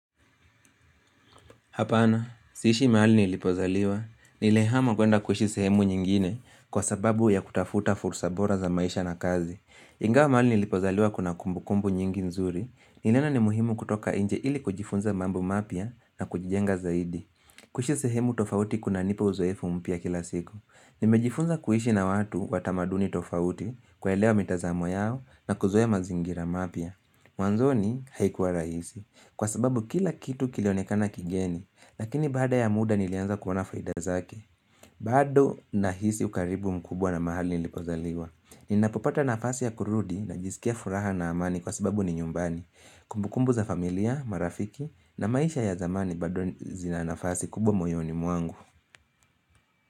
Hapana, si ishi mahali nilipozaliwa. Nilihama kwenda kuishi sehemu nyingine kwa sababu ya kutafuta fursa bora za maisha na kazi. Ingawa mahali nilipozaliwa kuna kumbu kumbu nyingi nzuri, niliona ni muhimu kutoka nje ili kujifunza mambo mapya na kujijenga zaidi. Kuishi sehemu tofauti kuna nipa uzoefu mpya kila siku. Nimejifunza kuishi na watu wa tamaduni tofauti kuelewa mitazamo yao na kuzoea mazingira mapya. Mwanzoni haikuwa rahisi Kwa sababu kila kitu kilionekana kigeni Lakini baada ya muda nilianza kuona faida zake bado nahisi ukaribu mkubwa na mahali nilipozaliwa Ninapopata nafasi ya kurudi najiskia furaha na amani kwa sababu ni nyumbani Kumbukumbu za familia, marafiki na maisha ya zamani bado zina nafasi kubwa moyoni mwangu.